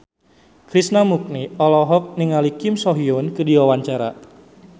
Krishna Mukti olohok ningali Kim So Hyun keur diwawancara